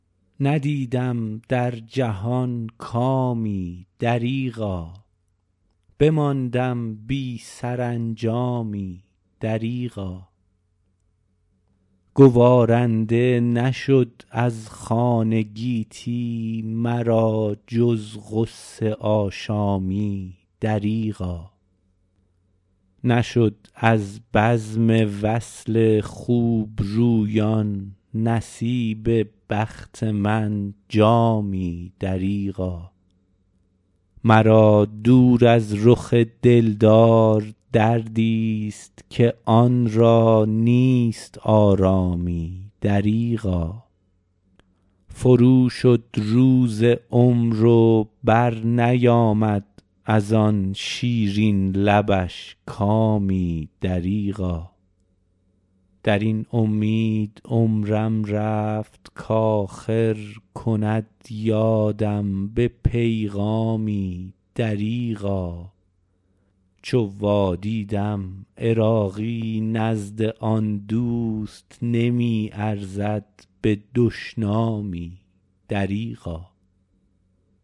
ندیدم در جهان کامی دریغا بماندم بی سرانجامی دریغا گوارنده نشد از خوان گیتی مرا جز غصه آشامی دریغا نشد از بزم وصل خوبرویان نصیب بخت من جامی دریغا مرا دور از رخ دلدار دردی است که آن را نیست آرامی دریغا فرو شد روز عمر و بر نیامد از آن شیرین لبش کامی دریغا درین امید عمرم رفت کاخر کند یادم به پیغامی دریغا چو وادیدم عراقی نزد آن دوست نمی ارزد به دشنامی دریغا